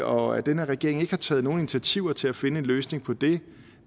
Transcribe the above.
og at den her regering ikke har taget nogen initiativer til at finde en løsning på det